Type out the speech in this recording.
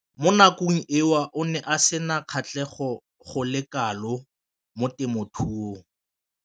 Mo nakong eo o ne a sena kgatlhego go le kalo mo temothuong.